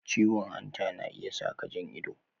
Ciwon hanta yana iya saka jan ido